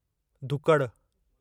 धुकड़ु